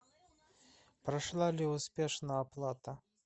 прошла ли успешно оплата